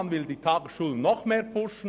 Man will die Tagesschulen noch mehr pushen.